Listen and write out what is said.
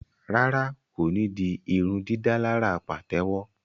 Rárá, ko ní dì irundidalara patewo